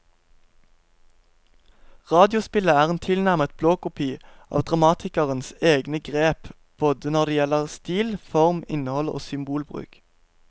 Radiospillet er en tilnærmet blåkopi av dramatikerens egne grep både når det gjelder stil, form, innhold og symbolbruk.